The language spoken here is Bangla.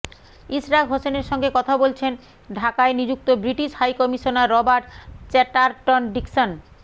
ইশরাক হোসেনের সঙ্গে কথা বলছেন ঢাকায় নিযুক্ত British high commissioner Robert Chatterton Dickson